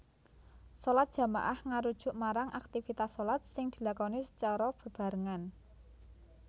Shalat jamaah ngarujuk marang aktivitas shalat sing dilakoni sacara bebarengan